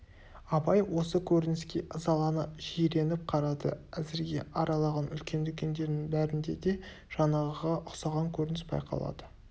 абай осы көрініске ызалана жиреніп қарады әзірге аралаған үлкен дүкендерінің бәрінде де жаңағыға ұқсаған көрініс байқалады